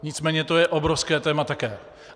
Nicméně to je obrovské téma také.